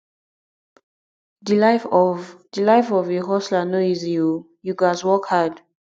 di life of di life of a hustler no easy o you gats work hard